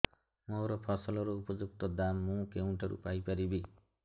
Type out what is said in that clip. ମୋ ଫସଲର ଉପଯୁକ୍ତ ଦାମ୍ ମୁଁ କେଉଁଠାରୁ ପାଇ ପାରିବି